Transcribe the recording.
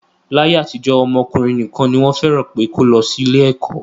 Láyé àtijọ́, ọmọ ọkùnrin nìkan ni wọ́n fẹ́ràn pé kó lọ sí ilé ẹ̀kọ́